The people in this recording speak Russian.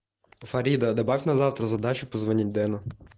фарида добавь на завтра задачу позвонить дену